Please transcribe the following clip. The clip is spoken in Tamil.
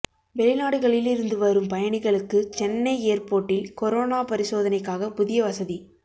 வௌிநாடுகளில் இருந்து வரும் பயணிகளுக்கு சென்னை ஏர்போர்ட்டில் கொரோனா பரிசோதனைக்காக புதிய வசதி